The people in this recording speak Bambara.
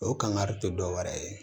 O kangari tɛ dɔwɛrɛ ye